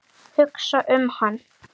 Hugsa um hann.